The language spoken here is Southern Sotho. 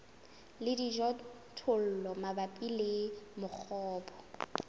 le dijothollo mabapi le mongobo